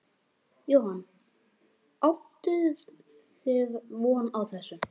Jóhann: Áttuð þið von á þessu?